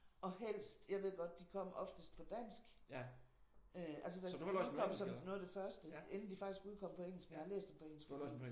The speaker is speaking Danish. Og helst jeg ved godt de kom oftest på dansk øh altså da de udkom som noget af det første. Inden de faktisk udkom på engelsk men jeg har læst dem på engelsk fordi